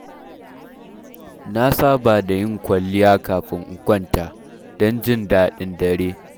Na saba da yin kwalliya kafin in kwanta, don jin daɗin dare.